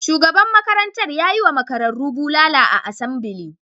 Shugaban makarantar ya yi wa makararru bulala a asambili.